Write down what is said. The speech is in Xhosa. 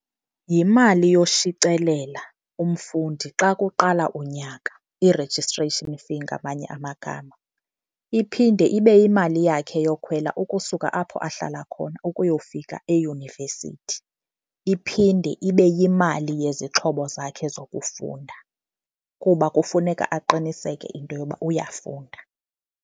Yimali yoshicelela umfundi xa kuqala unyaka, i-registration fee ngamanye amagama. Iphinde ibe yimali yakhe yokhwela ukusuka apho ahlala khona ukuyofika eyunivesithi. Iphinde ibe yimali yezixhobo zakhe zokufunda kuba kufuneka aqiniseke into yoba uyafunda.